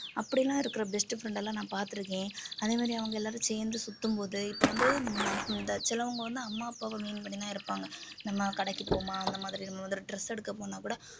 அப்படி எல்லாம் இருக்கிற best friend எல்லாம் நான் பார்த்திருக்கேன் அதே மாதிரி அவங்க எல்லாரும் சேர்ந்து சுத்தும்போது இப்போ வந்து ஹம் இந்த சிலவங்க வந்து அம்மா அப்பாவை mean பண்ணிதான் இருப்பாங்க நம்ம கடைக்கு போவோமா அந்த மாதிரி நம்ம வந்து dress எடுக்க போனாக்கூட